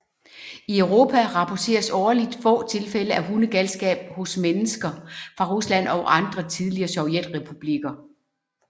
I Europa rapporteres årligt få tilfælde af hundegalskab hos mennesker fra Rusland og andre tidligere Sovjetrepublikker